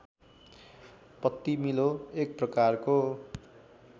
पत्तिमीलो एक प्रकारको